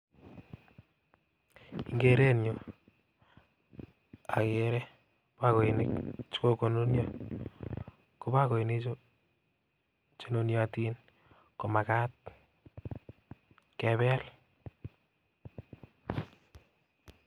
En keerunyun akeree bokoinik chekokonunion, ko bokoinichu Chu nuniotin komagat kebel